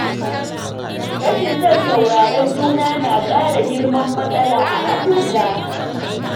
Rashin son sauraron juna na ƙara girman matsala a abota.